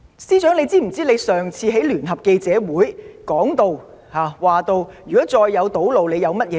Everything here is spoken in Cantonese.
司長，你可曾記得在上次聯合記者會上，你被問及如再有堵路將有甚麼對策？